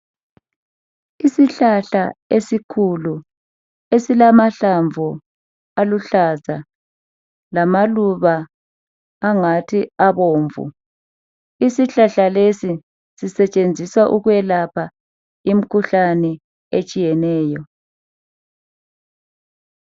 Isihlahla esikhulu esilamahlamvu aluhlaza lamaluba angathi abomvu. Isihlahla lesi sisetshenziswa ukwelapha imikhuhlane etshiyeneyo.